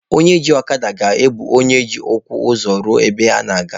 Onye ji ọkada ga-ebu onye ji ụkwụ ụzọ ruo ebe ọ na-aga.